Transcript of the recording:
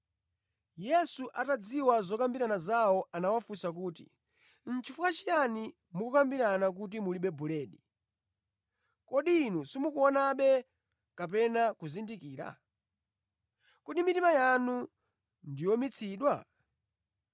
Yesu atadziwa zokambirana zawo anawafunsa kuti, “Nʼchifukwa chiyani mukukambirana kuti mulibe buledi? Kodi inu simukuonabe kapena kuzindikira? Kodi mitima yanu ndi yowumitsidwa?